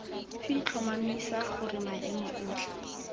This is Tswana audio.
f tlhomamisa gore maemo otlhe